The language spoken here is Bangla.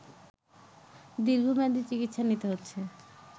দীর্ঘমেয়াদী চিকিৎসা নিতে হচ্ছে